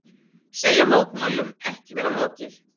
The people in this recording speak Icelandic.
Segja mótmælum ekki vera lokið